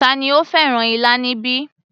Tani ó fẹ́ràn ilá níbí